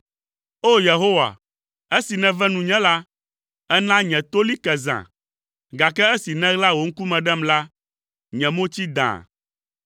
O! Yehowa, esi nève nunye la, èna nye to li ke zã, gake esi nèɣla wò ŋkume ɖem la, nye mo tsi dãa.